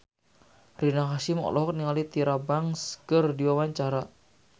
Rina Hasyim olohok ningali Tyra Banks keur diwawancara